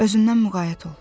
Özündən müğayət ol.